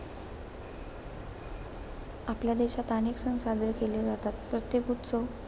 आपल्या देशात अनेक सण साजरे केले जातात. प्रत्येक उत्सव,